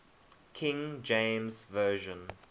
king james version